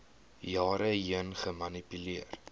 jare heen gemanipuleer